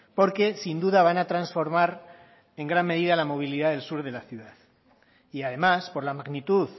porque sin duda van a transformar en gran medida la movilidad del sur de la ciudad y además por la magnitud